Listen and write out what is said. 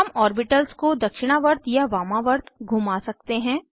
हम ऑर्बिटल्स को दक्षिणावर्त या वामावर्त घुमा सकते हैं